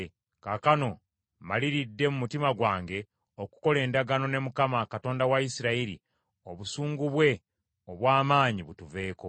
Kaakano mmaliridde mu mutima gwange okukola endagaano ne Mukama , Katonda wa Isirayiri obusungu bwe obw’amaanyi butuveeko.